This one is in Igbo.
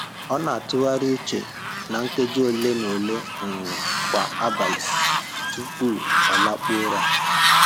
Ọ na-atụgharị uche na nkeji ole na ole um kwa abalị tupu ọ lakpuo ụra